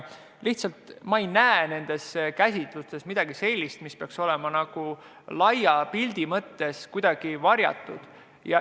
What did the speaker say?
Ma lihtsalt ei näe nendes käsitlustes midagi sellist, mis peaks olema laia pildi mõttes kuidagi varjatud.